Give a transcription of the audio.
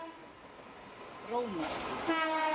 Rómarstíg